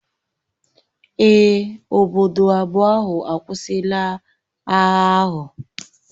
Èè, obodo abụọ ahụ akwụsịla agha ahụ